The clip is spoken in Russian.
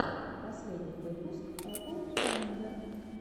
последний выпуск эпл файндер